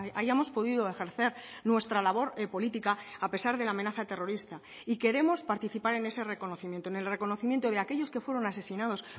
hayamos podido ejercer nuestra labor política a pesar de la amenaza terrorista y queremos participar en ese reconocimiento en el reconocimiento de aquellos que fueron asesinados